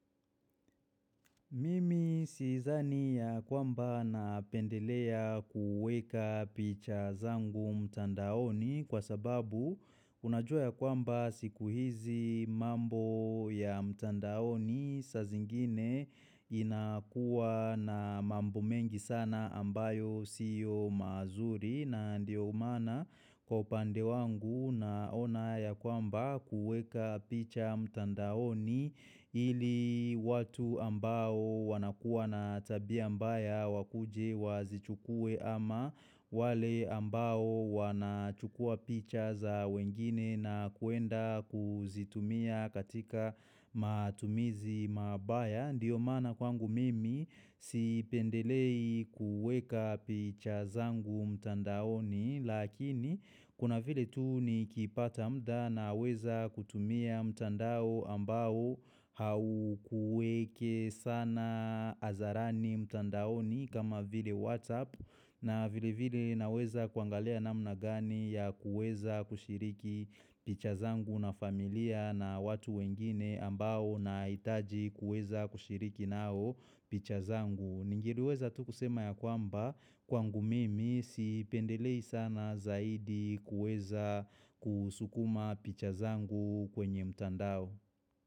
Mimi siezani ya kwamba napendelea kuweka picha zangu mtandaoni kwa sababu unajua ya kwamba siku hizi mambo ya mtandaoni saa zingine inakuwa na mambo mengi sana ambayo siyo mazuri na ndio maana kwa upande wangu naona ya kwamba kuweka picha mtandaoni ili watu ambao wanakuwa na tabia mbaya wakuje wazichukue ama wale ambao wanachukua picha za wengine na kuenda kuzitumia katika matumizi mabaya. Ndiyo maana kwangu mimi sipendelei kuweka picha zangu mtandaoni lakini kuna vile tu nikipata mda naweza kutumia mtandao ambao haukuweke sana hadharani mtandaoni kama vile WhatsApp. Na vile vile naweza kuangalia namna gani ya kuweza kushiriki picha zangu na familia na watu wengine ambao nahitaji kuweza kushiriki nao picha zangu. Ningeliweza tu kusema ya kwamba kwangu mimi sipendelei sana zaidi kuweza kusukuma picha zangu kwenye mtandao.